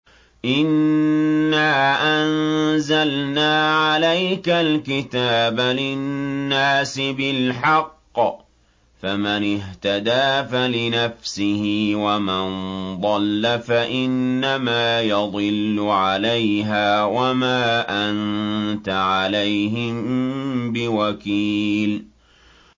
إِنَّا أَنزَلْنَا عَلَيْكَ الْكِتَابَ لِلنَّاسِ بِالْحَقِّ ۖ فَمَنِ اهْتَدَىٰ فَلِنَفْسِهِ ۖ وَمَن ضَلَّ فَإِنَّمَا يَضِلُّ عَلَيْهَا ۖ وَمَا أَنتَ عَلَيْهِم بِوَكِيلٍ